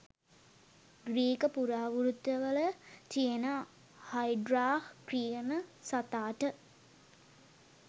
Greek පුරාවෘත්තවල තියෙන Hydra කියන සතාට